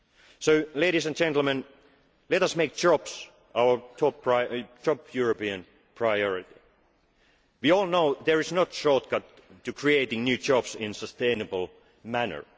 price for it. So, ladies and gentlemen let us make jobs our top European priority. We all know there is no shortcut to creating new jobs in a sustainable